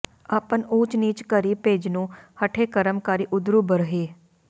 ਆਪਨ ਊਚ ਨੀਚ ਘਰਿ ਭੋਜਨੁ ਹਠੇ ਕਰਮ ਕਰਿ ਉਦਰੁ ਭਰਹਿ